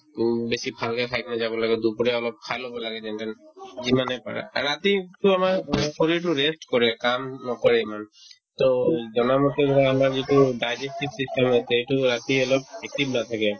উম, বেছি ভালকে খাই পিনে যাব লাগে দুপৰীয়া অলপ খাই ল'ব লাগে যেনেকে যিমানে পাৰা ৰাতি কিন্তু আমাৰ অ শৰীৰটো rest কৰে কাম নকৰে ইমান to জনামতে ধৰা আমাৰ যিটো digestive system আছে সেইটো ৰাতি অলপ active নাথাকে